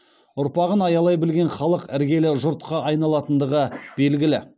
ұрпағын аялай білген халық іргелі жұртқа айналатындығы белгілі